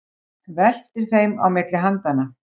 Veltir þeim á milli handanna.